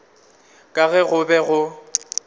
ka ge go be go